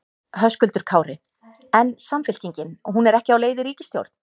Höskuldur Kári: En Samfylkingin, hún er ekki á leið í ríkisstjórn?